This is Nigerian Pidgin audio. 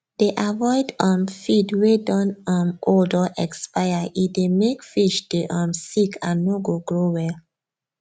dey avoid um feed wey don um old or expire e dey make fish dey um sick and no go grow well